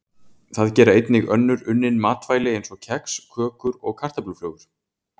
Það gera einnig önnur unnin matvæli eins og kex, kökur og kartöfluflögur.